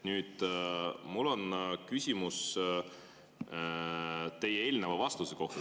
Mul on küsimus teie eelneva vastuse kohta.